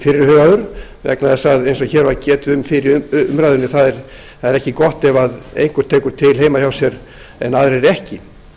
fyrirhugaður vegna þess að eins og hér var getið um fyrr í umræðunni er ekki gott ef einhver tekur til heima hjá sér en aðrir ekki